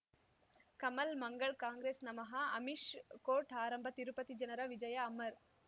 ಕಮಲ್ ಮಂಗಳ್ ಕಾಂಗ್ರೆಸ್ ನಮಃ ಅಮಿಷ್ ಕೋರ್ಟ್ ಆರಂಭ ತಿರುಪತಿ ಜನರ ವಿಜಯ ಅಮರ್